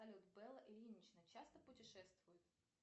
салют белла ильинична часто путешествует